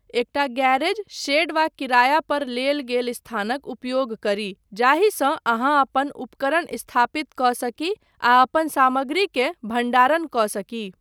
एकटा garage, shed वा किराया पर लेल गेल स्थानक उपयोग करी, जाहिसँ अहाँ अपन उपकरण स्थापित कऽ सकी आ अपन सामग्रीकेँ भण्डारण कऽ सकी।